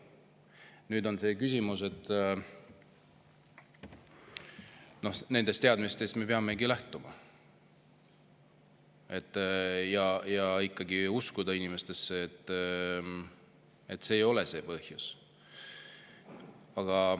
Nüüd on see küsimus, et nendest teadmistest me peamegi lähtuma, ja ikkagi uskuma inimestesse, uskuma, et see ei ole see põhjus.